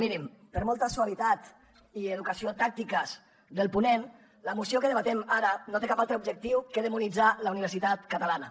mirin per molta suavitat i educació tàctiques del ponent la moció que debatem ara no té cap altre objectiu que demonitzar la universitat catalana